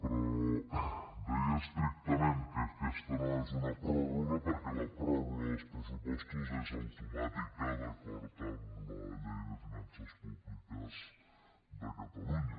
però deia estrictament que aquesta no és una pròrroga perquè la pròrroga dels pressupostos és automàtica d’acord amb la llei de finances públiques de catalunya